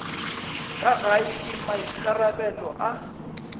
ka gae ke maikarabelo a